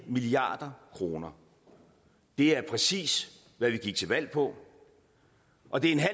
milliard kroner det er præcis hvad vi gik til valg på og det